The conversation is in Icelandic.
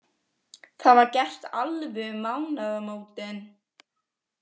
Það var gert alveg um mánaðamótin.